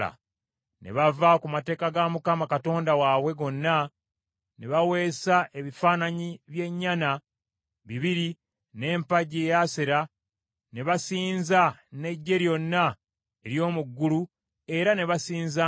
Ne bava ku mateeka ga Mukama Katonda waabwe gonna, ne baweesa ebifaananyi by’ennyana bibiri, n’empagi ey’Asera, ne basinza n’eggye lyonna ery’omu ggulu era ne basinzanga ne Baali.